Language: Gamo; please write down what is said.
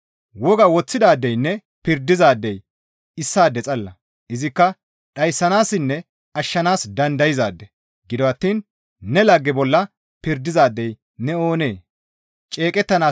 Woga woththidaadeynne pirdizaadey issaade xalla; izikka dhayssanaassinne ashshanaas dandayzaade; gido attiin ne lagge bolla pirdizaadey ne oonee?